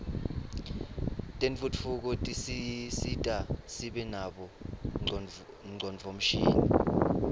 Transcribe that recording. tentfutfuko tisisita sibe nabo ngcondvomshini